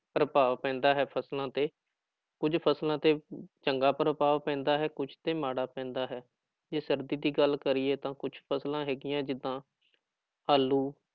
ਪ੍ਰਭਾਵ ਪੈਂਦਾ ਹੈ ਫ਼ਸਲਾਂ ਤੇ ਕੁੱਝ ਫ਼ਸਲਾਂ ਤੇ ਚੰਗਾ ਪ੍ਰਭਾਵ ਪੈਂਦਾ ਹੈ ਕੁੱਝ ਤੇ ਮਾੜਾ ਪੈਂਦਾ ਹੈ ਜੇ ਸਰਦੀ ਦੀ ਗੱਲ ਕਰੀਏ ਤਾਂ ਕੁਛ ਫ਼ਸਲਾਂ ਹੈਗੀਆਂ ਜਿੱਦਾਂ ਆਲੂ